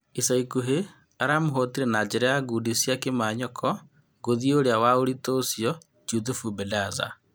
Icaikuhĩ aramũhootire na njĩra ya ngundi cia kĩmanyoko ngũthi ũrĩa wa ũritũ ũcio Juthubu Bendaza.